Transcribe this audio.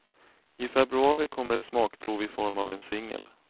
I februari kommer ett smakprov i form av en singel.